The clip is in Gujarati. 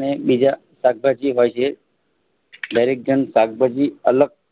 ને બીજા શાકભાજી વધે દરેક જણ શાકભાજી અલગ